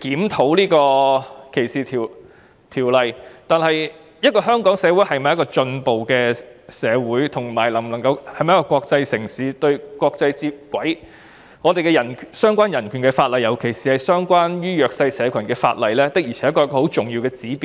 檢討歧視條例，但香港是否一個進步社會或國際城市，是否能夠跟國際接軌，相關的人權法例，尤其是關於弱勢社群的法例，的確是一個重要的指標。